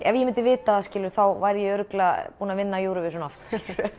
ef ég myndi vita það væri ég örugglega búin að vinna Eurovision oft